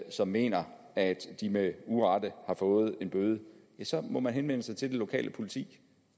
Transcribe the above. som mener at de med urette har fået en bøde må man henvende sig til det lokale politi